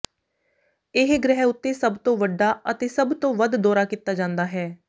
ਇਹ ਗ੍ਰਹਿ ਉੱਤੇ ਸਭ ਤੋਂ ਵੱਡਾ ਅਤੇ ਸਭ ਤੋਂ ਵੱਧ ਦੌਰਾ ਕੀਤਾ ਜਾਂਦਾ ਹੈ